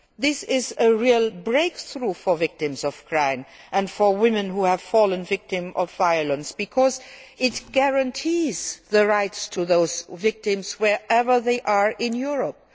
This is a real breakthrough for victims of crime and for women who have fallen victim to violence, because it guarantees the rights of those victims wherever they are in Europe.